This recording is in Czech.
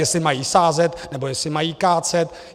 Jestli mají sázet, nebo jestli mají kácet.